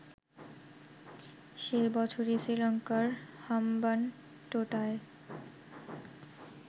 সে বছরেই শ্রীলঙ্কার হাম্বানটোটায়